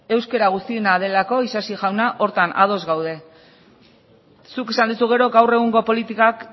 euskara guztiena delako isasi jauna horretan ados gaude zuk esan duzu gero gaur egungo politikak